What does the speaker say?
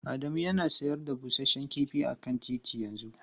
Adamu yana sayar da busasshen kifi a kan titi yanzu.